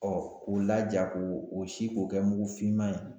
Ɔ k'o laja ko o si k'o kɛ mugufinma ye.